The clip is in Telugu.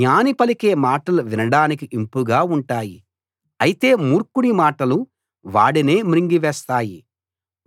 జ్ఞాని పలికే మాటలు వినడానికి ఇంపుగా ఉంటాయి అయితే మూర్ఖుడి మాటలు వాడినే మింగివేస్తాయి